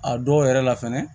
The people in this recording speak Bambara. A dɔw yɛrɛ la fɛnɛ